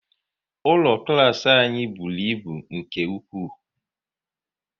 Ụlọ klas anyị bụrụ ịbụ nke ụkwụ